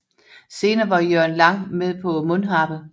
Senere var Jørgen Lang med på Mundharpe